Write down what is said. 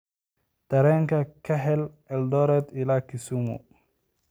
Tareen ka hel eldoret ilaa kisumu